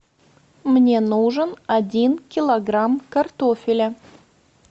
мне нужен один килограмм картофеля